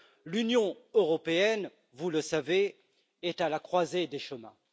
L'Union européenne, vous le savez, est à la croisée des chemins.